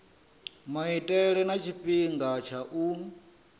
maitele na tshifhinga tsha u